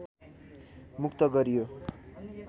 मुक्त गरियो